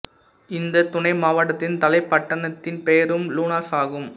இந்தத் துணை மாவட்டத்தின் தலைப் பட்டணத்தின் பெயரும் லூனாஸ் ஆகும்